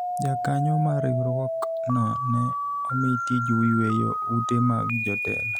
jakanyo mar riwruok no ne omi tij yweyo ute mag jotelo